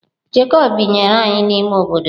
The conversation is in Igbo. Jekọb binyere anyị n’ime obodo.